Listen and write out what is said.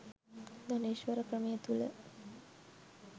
ධනේශ්වර ක්‍රමය තුල